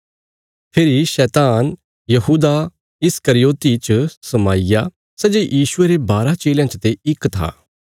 फेरी शैतान यहूदा इस्करियोति च समाईया सै जे यीशुये रे बारा चेलयां चते इक था